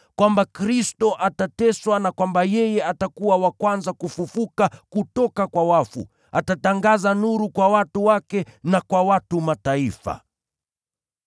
kwamba Kristo atateswa, na kwamba yeye atakuwa wa kwanza kufufuka kutoka kwa wafu, na atatangaza nuru kwa watu wake na kwa watu wa Mataifa.”